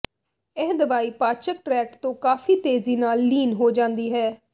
ਇਹ ਦਵਾਈ ਪਾਚਕ ਟ੍ਰੈਕਟ ਤੋਂ ਕਾਫ਼ੀ ਤੇਜ਼ੀ ਨਾਲ ਲੀਨ ਹੋ ਜਾਂਦੀ ਹੈ